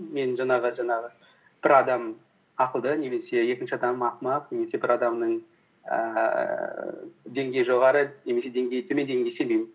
мен жаңағы бір адам ақылды немесе екінші адам ақымақ немесе бір адамның ііі деңгейі жоғары немесе деңгейі төмен дегенге сенбеймін